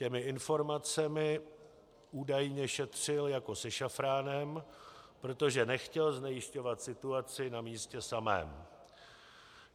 Těmi informacemi údajně šetřil jako se šafránem, protože nechtěl znejisťovat situaci na místě samém.